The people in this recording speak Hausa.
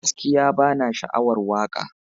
Gaskiya bana sha'awar waka.